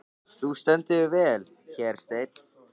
Þú stendur þig vel, Hersteinn!